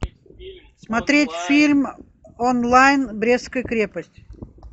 смотреть фильм онлайн брестская крепость